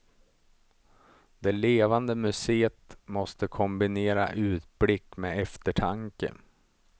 Det levande museet måste kombinera utblick med eftertanke.